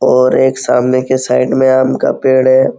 और एक सामने की साइड में आम का पेड़ है।